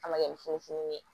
A ma kɛ ni funufunun ye